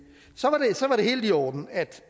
helt i orden at